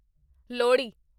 Lohri